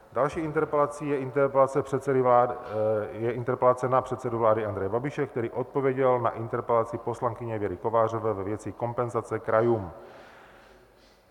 Další interpelací je interpelace na předsedu vlády Andreje Babiše, který odpověděl na interpelaci poslankyně Věry Kovářové ve věci kompenzace krajům.